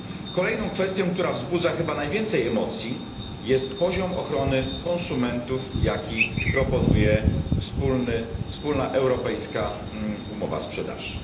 Kolejną kwestią, która wzbudza chyba najwięcej emocji, jest poziom ochrony konsumentów, jaki proponuje wspólna europejska umowa sprzedaży.